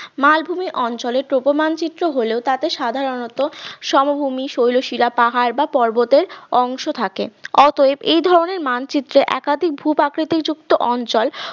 মালভূমি অঞ্চলের topo মানচিত্র হলেও তাতে সাধারণত সমভূমি শৈলশিরা পাহাড় বা পর্বতের অংশ থাকে অতএব এই ধরনের মানচিত্র একাধিক ভূপ্রাকৃতি যুক্ত অঞ্চল